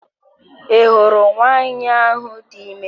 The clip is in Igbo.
I hụrụ nwanyị ahụ dị ime